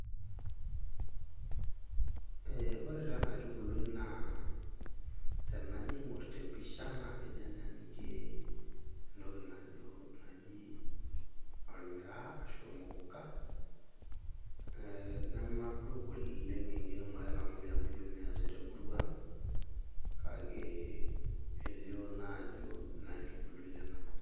Ee ore taa ena aitubului naa tenajo aingor te mpisha naa kejo anyaanyukie entoki najo ormiraa ashu ormokoko. Ee nemadup enkiremore ena toki amu ijo measi temurua ang kake elioo naaa ajo ina aitubului ena .